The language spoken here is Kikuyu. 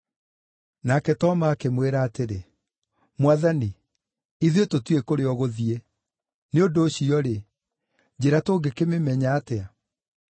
Nake Toma akĩmwĩra atĩrĩ, “Mwathani, ithuĩ tũtiũĩ kũrĩa ũgũthiĩ, nĩ ũndũ ũcio-rĩ, njĩra tũngĩkĩmĩmenya atĩa?”